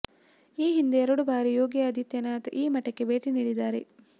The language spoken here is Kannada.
ಈ ಹಿಂದೆ ಎರಡು ಬಾರಿ ಯೋಗಿ ಆದಿತ್ಯನಾಥ ಈ ಮಠಕ್ಕೆ ಭೇಟಿ ನೀಡಿದ್ದಾರೆ